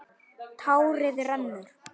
Tárið rennur.